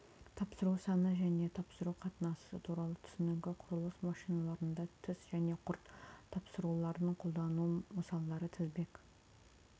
тапсыру саны және тапсыру қатынасы туралы түсінігі құрылыс машиналарында тіс және құрт тапсыруларын қолдану мысалдары тізбек